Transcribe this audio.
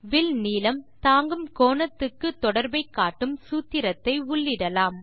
will நீளம் தாங்கும் கோணத்துக்கு தொடர்பை காட்டும் சூத்திரத்தை உள்ளிடலாம்